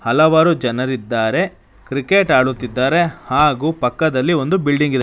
ಹಲವಾರು ಜನರಿದ್ದಾರೆ ಕ್ರಿಕೆಟ್ ಆಡುತ್ತಿದ್ದಾರೆ ಹಾಗು ಪಕ್ಕದಲ್ಲಿ ಒಂದು ಬಿಲ್ಡಿಂಗ್ ಇದೆ.